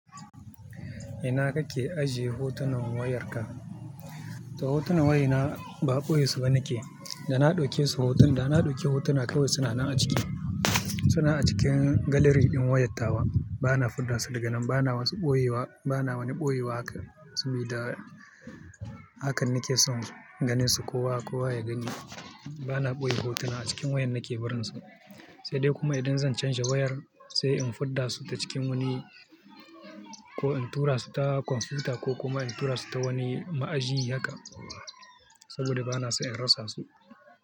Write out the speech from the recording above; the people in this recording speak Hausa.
Ina kake ajiye hotunan wayarka? To hotunan wayina ba ɓoye su ba nake. Da na ɗauke su hotun, da na ɗauke hotuna kawai suna nan a ciki. Suna a cikin gallery ɗin wayattawa. Bana fiddasu daga nan, bana wa su ɓoyewa, bana wani ɓoyewa haka sabida, hakan nake son ganin su kowa, kowa ya gani. Bana ɓoye hotuna a cikin wayar nake barin su. Sai dai kuma idan zan canja wayar sai in fidda su ta cikin wani ko in tura su ta kwamfuta ko kuma in tura su ta wani ma'aji haka. Saboda bana so in rasa su.